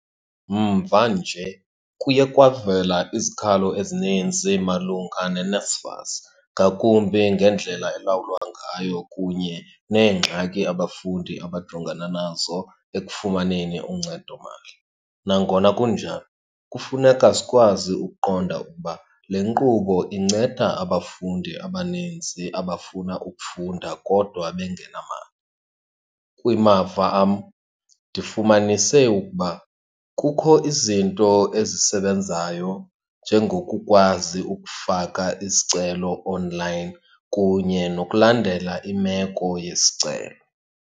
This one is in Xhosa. Mvanje kuye kwavela izikhalo ezininzi malunga neNSFAS, ngakumbi ngendlela elawulwa ngayo kunye neengxaki abafundi abajongana nazo ekufumaneni uncedomali. Nangona kunjalo kufuneka sikwazi ukuqonda ukuba le nkqubo inceda abafundi abanintsi abafuna ukufunda kodwa bengenamali. Kumava am ndifumanise ukuba kukho izinto ezisebenzayo, njengokukwazi ukufaka isicelo onlayini kunye nokulandela imeko yesicelo.